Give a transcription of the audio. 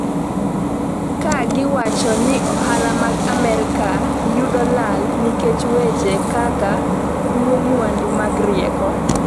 ka giwacho ni ohala mag Amerka yudo lal nikech weche kaka kuo mwandu mag rieko